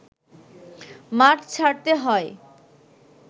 মাঠ ছাড়তে হয়